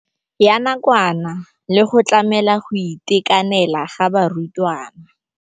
Ya nakwana le go tlamela go itekanela ga barutwana.